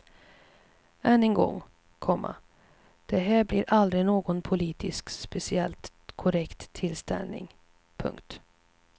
Än en gång, komma det här blev aldrig någon politiskt speciellt korrekt tillställning. punkt